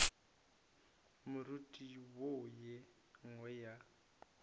moriti wo ye nngwe ya